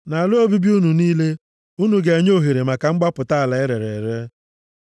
Nʼala obibi unu niile, unu ga-enye ohere maka mgbapụta ala erere ere.